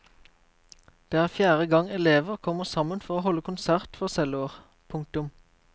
Det er fjerde gang elever kommer sammen for å holde konsert for celloer. punktum